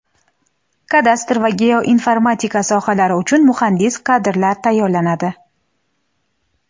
kadastr va geoinformatika sohalari uchun muhandis kadrlar tayyorlanadi.